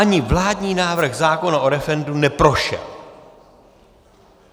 Ani vládní návrh zákona o referendu neprošel.